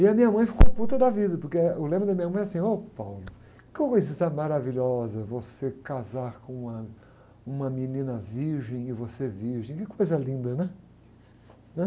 E a minha mãe ficou puta da vida, porque, eh, o lema da minha mãe é assim, ôh, que coisa maravilhosa você casar com uma menina virgem e você virgem, é uma coisa linda, né?